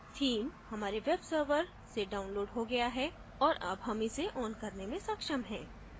theme हमारे web server से downloaded हो गया है और अब हम इसे on करने में सक्षम हैं